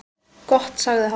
Gott sagði hann.